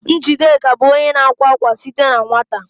Njideka bụ onye na-akwa akwa site na nwata